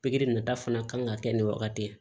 Pikiri nata fana kan ka kɛ nin wagati de ye